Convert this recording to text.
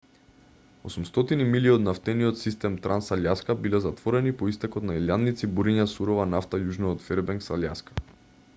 800 милји од нафтениот систем транс-алјаска биле затворени по истекот на илјадници буриња сурова нафта јужно од фербенкс алјаска